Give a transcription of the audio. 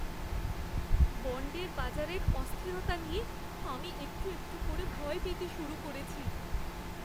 বণ্ডের বাজারের অস্থিরতা নিয়ে আমি একটু একটু করে ভয় পেতে শুরু করেছি।